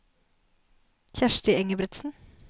Kjersti Engebretsen